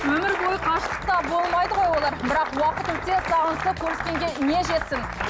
өмір бойы қашықтықта болмайды ғой олар бірақ уақыт өте сағынысып көріскенге не жетсін